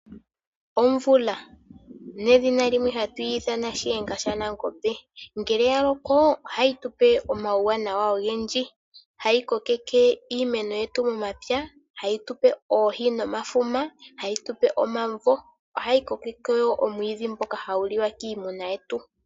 Omvula, nedhina limwe hatui ithana shiyenga shanangombe, ngele ya loko ohayi tupe omauwanawa ogendji. Ohayi kokeke iimeno yetu momapya, ohayi tupe oohi nomafuma, ohayi tupe omavo, ohayi koke wo oomwiidhi mboka hawu liwa kiimuna yetu.